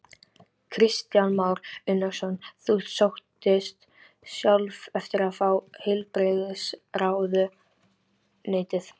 Kristján Már Unnarsson: Þú sóttist sjálf eftir að fá heilbrigðisráðuneytið?